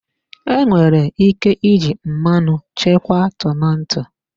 Enwere ike iji mmanụ chekwa tomato.